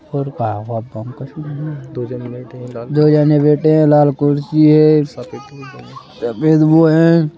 और का दो जने बैठे हैं लाल कुर्सी है सफेद सफेद वो है।